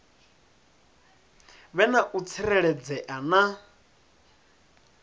vhe na u tsireledzea na